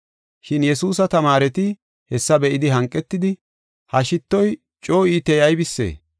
Shin Yesuusa tamaareti hessa be7idi hanqetidi, “Ha shittoy coo iitey aybisee?